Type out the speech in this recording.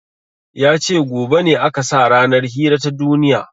Yace gobe ne aka sa ranar hira ta duniya